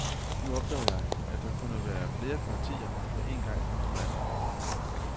Nu opdagede jeg, at der kunne være flere partier på en gang i mit land.